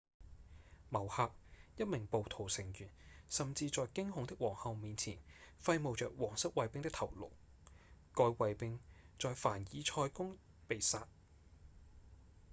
某刻一名暴徒成員甚至在驚恐的皇后面前揮舞著王室衛兵的頭顱該衛兵在在凡爾賽宮被殺